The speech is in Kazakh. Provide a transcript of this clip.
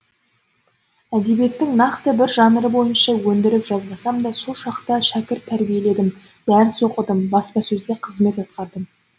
әдебиеттің нақты бір жанры бойынша өндіріп жазбасамда сол шақта шәкірт тәрбиеледім дәріс оқыдым баспасөзде қызмет атқардым